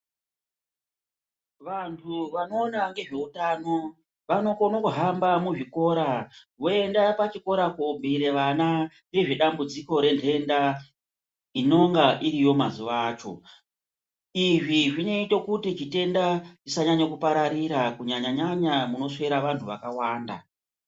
Vantu vanoona ngezveutano vanokono kuhamba muzvikora voenda pachikora kobhiire vana nezvedambudziko rentenda inenga iriyo mazuwa acho izvi zvinoita kuti chitenda chisanyanya kupararira kunyañya nyanya kunoswera vantu vakawanda.